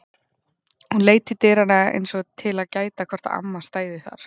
Hún leit til dyranna eins og til að gæta að hvort amma stæði þar.